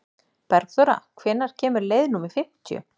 Bergþóra, hvenær kemur leið númer fimmtíu?